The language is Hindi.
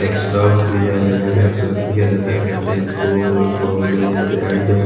एक्सराक्स भी है यहां पे एक्सराक्स भी किया जाता है यहां पे स्कूल कॉलेज एंड --